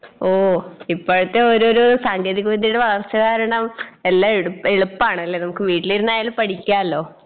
ഓ ഇപ്പഴത്തെ ഓരോരോ സാങ്കേതിക വിദ്യയുടെ വളർച്ച കാരണം എല്ലാ എടു എളുപ്പാണല്ലേ നമുക്ക് വീട്ടിലിരുന്നായാലും പഠിയ്ക്കാല്ലോ